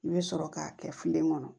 I bɛ sɔrɔ k'a kɛ filen kɔnɔ